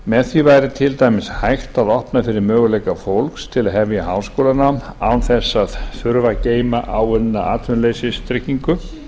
með því væri til dæmis hægt að opna fyrir möguleika fólks til að hefja háskólanám án þess að þurfa að geyma áunna atvinnuleysistryggingu